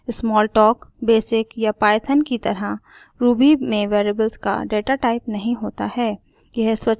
smalltalk basic या python की तरह ruby में वेरिएबल्स का डाटाटाइप नहीं होता है